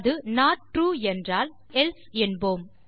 அது not true என்றால் நாம் எல்சே என்போம்